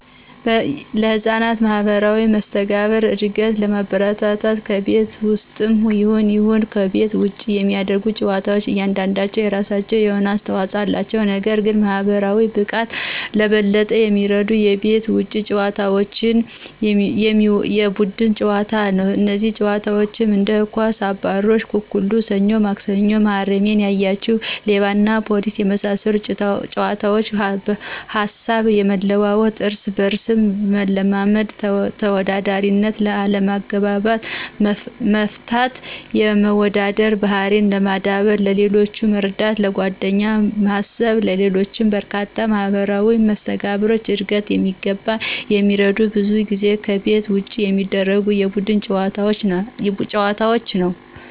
ለሕፃናት ማህበራዊ መስተጋብር እድገት ለማበረታታት ከቤት ውስጥም ይሁን ይሁን ከቤት ውጭ የሚደረጉ ጨዋታዎች እያንዳንዳቸው የራሳቸው የሆነ አስተዋጽኦ አላቸው። ነገር ግን ለማህበራዊ ብቃት በበለጠ የሚረዱት ከቤት ውጪ በሚጫወቱት የቡድን ጨዋታ ነው። እነዚህም ጨዋታዎች እንደ ኳስ፣ አባሮሽ፣ አኩኩሉ፣ ሰኞ ማክሰኞ፣ መሀረሜን ያያችሁ፣ ሌባና ፖሊስና በመሳሰሉት ጨዋታዎች ሀሳብ የመለዋወጥ፣ እርስ በርስ መለማመድ፣ ተወዳዳሪነት፣ አለመግባባትን መፍታት፣ የመዋደድ ባህሪን ማዳበር፣ ሌሎችን መረዳት፣ ለጓደኛ ማሰብና ሌሎችም በርካታ ለማህበራዊ መስተጋብር ዕድገት በሚገባ የሚረዱት ብዙ ጊዜ ከቤት ውጭ በሚደረጉ የቡድን ጨዋታዎች ነዉ።